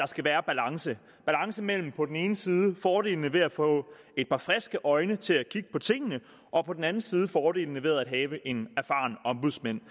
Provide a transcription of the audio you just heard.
skal være balance balance mellem på den ene side fordelene ved at få et par friske øjne til at kigge på tingene og på den anden side fordelene ved at have en erfaren ombudsmand